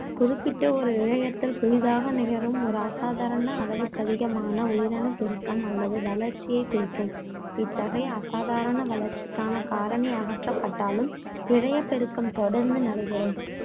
குறிப்பிட்ட ஒரு இழையத்தில், புதிதாக நிகழும் ஒரு அசாதாரண, அளவுக்கதிகமான உயிரணுப் பெருக்கம், அல்லது வளர்ச்சியைக் குறிக்கும். இத்தகைய அசாதாரண வளர்ச்சிக்கான காரணி அகற்றப்பட்டாலும், இழையப் பெருக்கம் தொடர்ந்து நடைபெறும்.